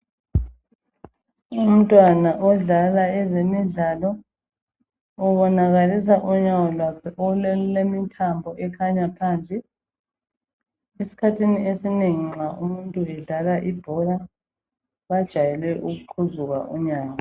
Umntwana odlala ezemidlalo ubonakalisa unyawo lwakhe olulemithambo ekhanya phandle. Esikhathini esinengi nxa umuntu edlala ibhola bajwayele ukuqhuzuka unyawo.